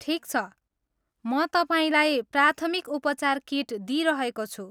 ठिक छ, म तपाईँलाई प्राथमिक उपचार किट दिइरहेको छु।